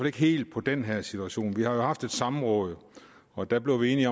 ikke helt på den her situation vi har jo haft et samråd og der blev vi enige